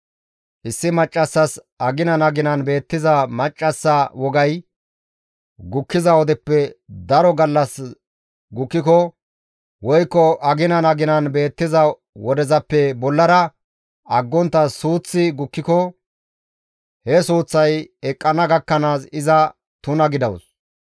Issi maccassas aginan aginan beettiza maccassa wogay gukkiza wodeppe daro gallas gukkiko woykko aginan aginan beettiza wodezappe bollara aggontta suuththi gukkiko he suuththay eqqana gakkanaas iza tuna gidawus.